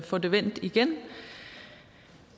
får det vendt igen